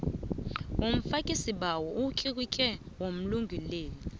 womfakisibawo umtlikitlo womlungeleli